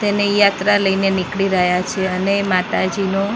તેની યાત્રા લઈને નીકળી રહ્યા છે અને માતાજીનો--